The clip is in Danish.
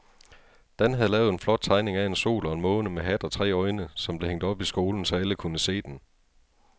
Dan havde lavet en flot tegning af en sol og en måne med hat og tre øjne, som blev hængt op i skolen, så alle kunne se den.